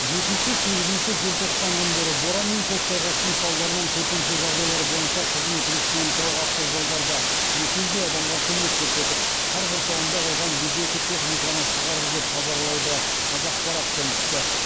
жетінші сегізінші желтоқсан күндері боран мен көктайғақтың салдарынан төтенше жайдайлар бойынша қызмет республикалық автожолдарда екі жүздей адамға көмек көрсетіп қар құрсауында қалған жүз екі техниканы шығарды деп хабарлайды қазақпарат тілшісі